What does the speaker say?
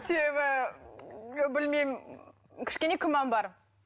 себебі білмеймін кішкене күмән бар